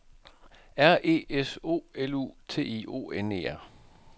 R E S O L U T I O N E R